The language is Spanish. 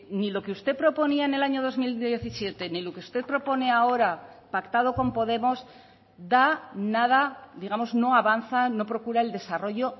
ni lo que usted proponía en el año dos mil diecisiete ni lo que usted propone ahora pactado con podemos da nada digamos no avanza no procura el desarrollo